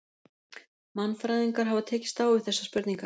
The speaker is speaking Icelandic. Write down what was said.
Mannfræðingar hafa tekist á við þessar spurningar.